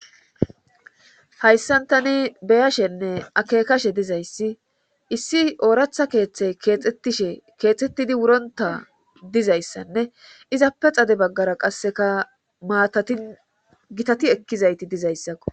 Hayssan tani beyashenne akekashe dizayssi issi ooratha keeththe keexettishe keexettidi wuronta dizayssanne izappe xade baggara qasseka maatatin gitati ekkizayti dizayssakko.